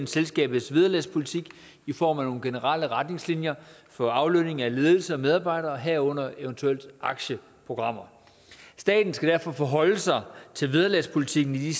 selskabets vederlagspolitik i form af nogle generelle retningslinjer for aflønning af ledelse og medarbejdere herunder eventuelt aktieprogrammer staten skal derfor forholde sig til vederlagspolitikken i de